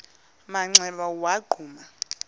manxeba waza wagquma